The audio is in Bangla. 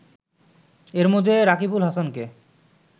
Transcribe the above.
এর মধ্যে রাকিবুল হাসানকে